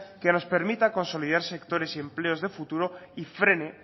que nos permita consolidar sectores y empleos de futuro y frene